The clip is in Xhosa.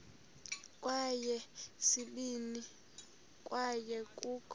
kweyesibini kwaye kukho